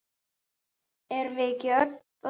Erum við það ekki öll?